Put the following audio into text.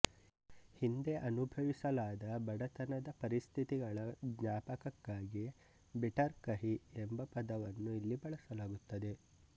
ಹಿಂದೆ ಅನುಭವಿಸಲಾದ ಬಡತನದ ಪರಿಸ್ಥಿತಿಗಳ ಜ್ಞಾಪಕಕ್ಕಾಗಿ ಬಿಟರ್ಕಹಿ ಎಂಬ ಪದವನ್ನೂ ಇಲ್ಲಿ ಬಳಸಲಾಗುತ್ತದೆ